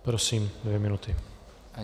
Prosím, dvě minuty.